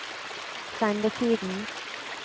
sendetiden